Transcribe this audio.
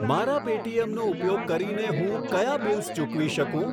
મારા પેટીએમ નો ઉપયોગ કરીને હું કયા બિલ્સ ચૂકવી શકું?